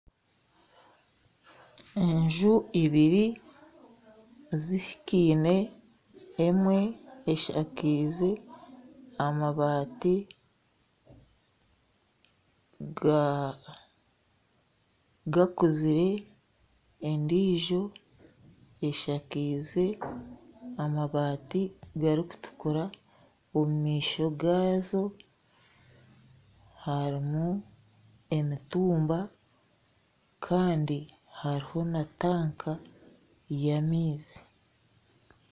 Enju ibiri zihikaine, emwe eshakaize amabaati ga gakuzire endijo eshakaize amabaati garikutukura. Omu maisho gaazo harimu emitumba kandi hariho na tanka ya maizi.